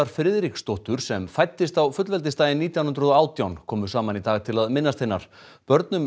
Friðriksdóttur sem fæddist á fullveldisdaginn nítján hundruð og átján komu saman í dag til að minnast hennar börnunum